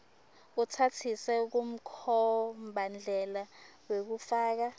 utsatsise kumkhombandlela wekufaka